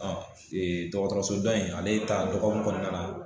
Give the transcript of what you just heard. dɔgɔtɔrɔso dɔ in ale ta dɔgɔɔkun kɔnɔna na.